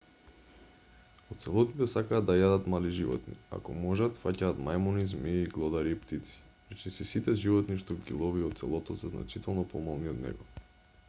оцелотите сакаат да јадат мали животни ако можат фаќаат мајмуни змии глодари и птици речиси сите животни што ги лови оцелотот се значително помали од него